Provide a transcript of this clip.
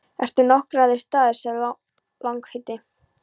Eru nokkrir aðrir staðir, sagði sá langleiti.